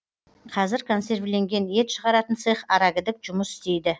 қазір консервіленген ет шығаратын цех арагідік жұмыс істейді